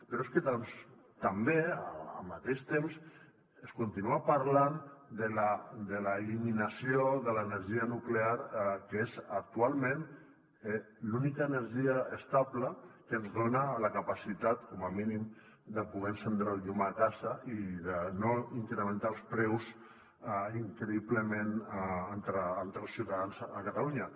però és que també al mateix temps es continua parlant de l’eliminació de l’energia nuclear que és actualment l’única energia estable que ens dona la capacitat com a mínim de poder encendre el llum a casa i de no incrementar els preus increïblement entre els ciutadans a catalunya